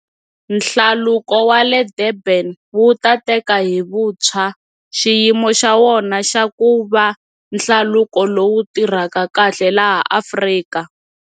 Hlaluko wa le Durban wu ta teka hi vuntshwa xiyimo xa wona xa ku va hlaluko lowu tirhaka kahle laha Afrika.